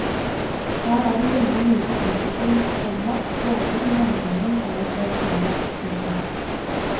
Her er det veldig lite utvikling, komma både i handlingen og hos karakterene. punktum